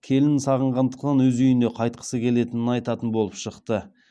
келінін сағынғандықтан өз үйіне қайтқысы келетінін айтатын болып шықты